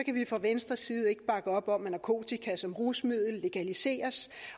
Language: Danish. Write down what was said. kan vi fra venstres side ikke bakke op om at narkotika som rusmiddel legaliseres